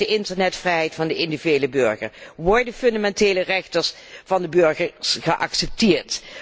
Hoe zit het met de internetvrijheid van de individuele burger? Worden fundamentele rechten van de burgers geaccepteerd?